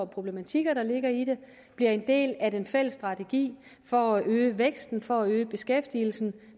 problematikker der ligger i det bliver en del af den fælles strategi for at øge væksten for at øge beskæftigelsen